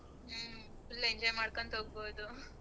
ಹ್ಮ full enjoy ಮಾಡ್ಕೊಂತಾ ಹೋಗ್ಬೋದು